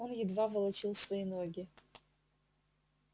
он едва волочил свои ноги